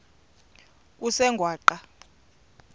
kusengwaqa